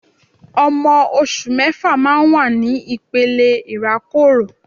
Ọmọ oṣù mẹ́fà máa ń wà ní ìpele ìrákòrò